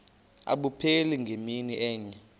abupheli ngemini enye